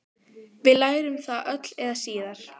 Við lærum það öll eða síðar.